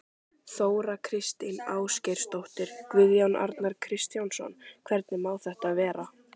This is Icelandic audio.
Þóra Kristín Ásgeirsdóttir: Guðjón Arnar Kristjánsson, hvernig má þetta vera?